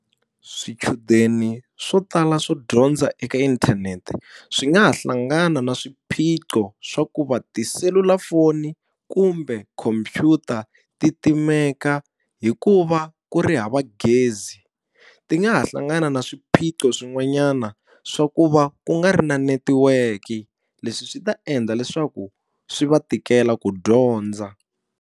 Swichudeni swo tala swo dyondza eka inthanete, swi nga ha hlangana na swiphiqo swa ku va tiselulafoni kumbe khomphyuta ti timeka hi ku va ku ri hava gezi. Ti nga ha hlangana na swiphiqo swin'wanyana swa ku va ku nga ri na netiweke. Leswi swi ta endla leswaku swi va tikela ku dyondza.